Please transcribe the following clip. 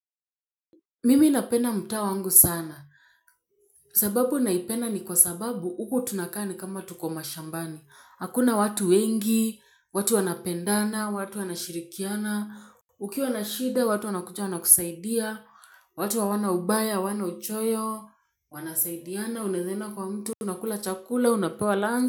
Mimi napenda mtaa wangu sana. Sababu naipenda ni kwa sababu huku tunakaa nikama tuko mashambani. Hakuna watu wengi, watu wanapendana, watu wanashirikiana. Ukiwa na shida, watu wanakuja wanakusaidia. Watu hawana ubaya, hawana uchoyo, wanasaidiana, unaweza enda kwa mtu, unakula chakula, unapewa lunch.